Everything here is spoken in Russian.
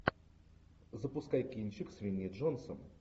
запускай кинчик с винни джонсом